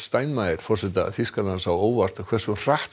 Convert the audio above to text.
forseta Þýskalands á óvart hversu hratt